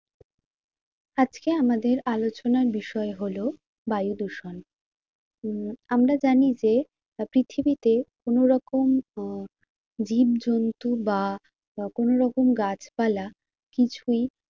আজকে আমাদের আলোচনার বিষয় হলো বায়ু দূষণ উম আমরা জানি যে পৃথিবীতে কোনো রকম আহ জীব জন্তু বা কোনো রকম গাছপালা কিছুই